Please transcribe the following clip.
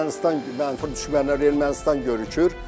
Ermənistan, mənfur düşmən Ermənistan görükür.